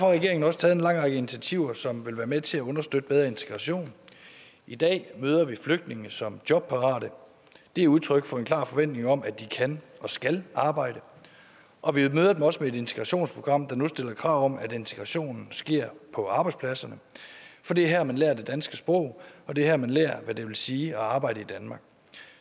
regeringen også taget en lang række initiativer som vil være med til at understøtte bedre integration i dag møder vi flygtningene som jobparate det er udtryk for en klar forventning om at de kan og skal arbejde og vi møder dem også med et integrationsprogram der nu stiller krav om at integrationen sker på arbejdspladserne for det er her man lærer det danske sprog og det er her man lærer hvad det vil sige at arbejde i danmark